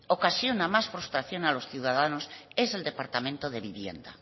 ocasiona más frustración a los ciudadanos es el departamento de vivienda